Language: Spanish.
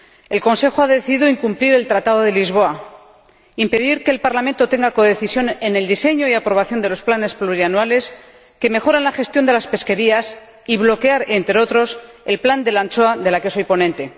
El Consejo ha decidido incumplir el Tratado de Lisboa, impedir que el Parlamento codecida sobre el diseño y la aprobación de los planes plurianuales, que mejoran la gestión de la pesca, y bloquear, entre otros, el plan de la anchoa, del que soy ponente.